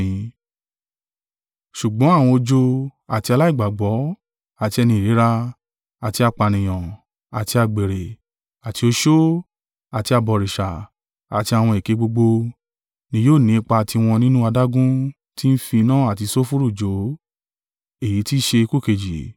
Ṣùgbọ́n àwọn ojo, àti aláìgbàgbọ́, àti ẹni ìríra, àti apànìyàn, àti àgbèrè, àti oṣó, àti abọ̀rìṣà, àti àwọn èké gbogbo, ni yóò ni ipa tiwọn nínú adágún tí ń fi iná àti sulfuru jó: èyí tí i ṣe ikú kejì.”